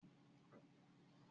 gbogbo ọfiisi ma ní Kọ̀ǹpútà títún.